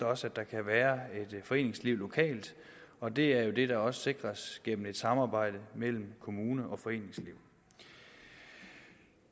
også at der kan være et foreningsliv lokalt og det er jo det der også sikres gennem et samarbejde mellem kommune og foreningsliv